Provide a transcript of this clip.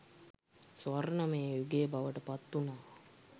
ස්වර්ණමය යුගය බවට පත් වුනා